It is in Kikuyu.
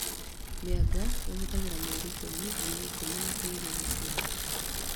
Mĩanga ĩhũthagĩra mĩeri ikũmi nginya ikũmi na ĩrĩ gũkũra